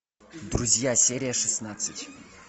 друзья серия шестнадцать